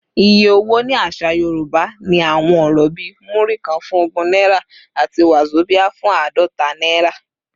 Iye owó ní àṣà Yorùbá ní àwọn ọ̀rọ̀ bíi “Múrí kan” fún ogún náírà àti “wàzobíà” fún àádọ́ta naira.